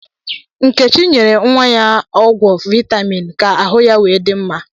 Nkechi nyere nwa ya ọgwọ vitaminsi, ka ahụ nwa ya di mma